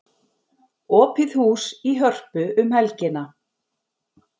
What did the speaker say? Opið hús í Hörpu um helgina